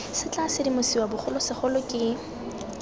se tla sedimosiwa bogolosegolo ke